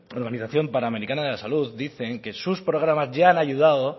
organización panamericana de la salud dicen que sus programas ya han ayudado